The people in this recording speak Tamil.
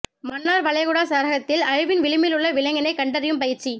மன்னார் வளைகுடா சரகத்தில் அழிவின் விளிம்பிலுள்ள விலங்கினங்களை கண்டறியும் பயிற்சி